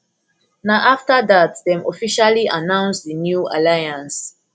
na afta dat dem officially announce di new alliance